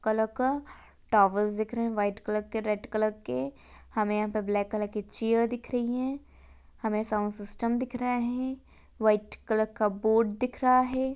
Black colour का towers दिख रहे है व्हाइट कलर रेड कलर के हमे यहां ब्लैक कलर की चेयर दिख रही है हमे साऊंड सिस्टम दिख रहा है व्हाइट कलर का बोर्ड दिख रहा है।